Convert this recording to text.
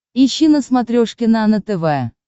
ищи на смотрешке нано тв